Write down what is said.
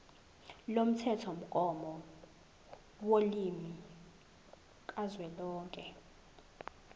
lomthethomgomo wolimi kazwelonke